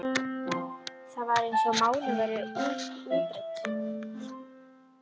Það var eins og málin væru útrædd.